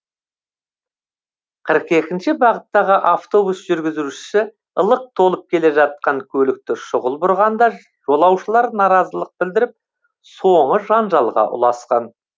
қырық екінші бағыттағы автобус жүргізушісі лық толып келе жатқан көлікті шұғыл бұрғанда жолаушылар наразылық білдіріп соңы жанжалға ұласқан